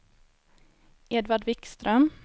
Edvard Wikström